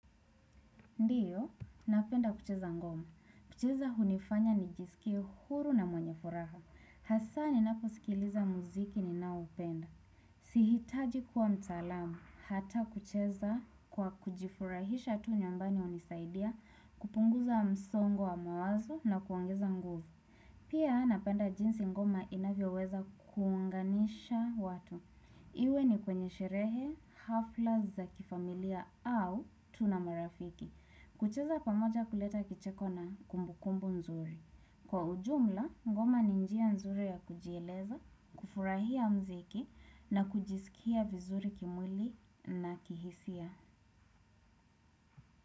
Ndiyo, napenda kucheza ngoma. Kucheza hunifanya nijisikie huru na mwenye furaha. Hasa ninapo sikiliza muziki ninaupenda. Sihitaji kuwa mtalamu, hata kucheza kwa kujifurahisha tu nyumbani unisaidia, kupunguza msongo wa mawazo na kuongeza nguvu. Pia napenda jinsi ngomo inavyo weza kuunganisha watu. Iwe ni kwenye sherehe, hafla za kifamilia au tuna marafiki. Kucheza pamoja kuleta kicheko na kumbu kumbu nzuri. Kwa ujumla, ngoma ni njia nzuri ya kujieleza, kufurahia mziki na kujisikia vizuri kimuili na kihisia.